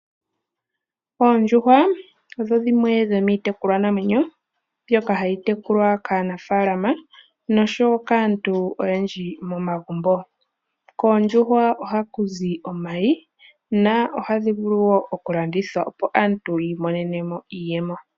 Oondjuhwa odho dhimwe dhomiitekulwa namwenyo mbyoka hayi tekulwa kaanafaalama noshowo kaantu oyendji momagumbo. Koondjuhwa ohaku zi omayi na ohadhi vulu okulandithwa opo aantu yiimonene mo iiyemo.